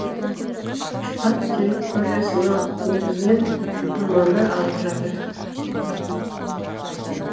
штат территориясыннегізінен ормандар алып жатыр